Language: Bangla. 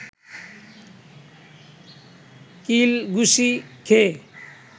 কিল ঘুসি খেয়ে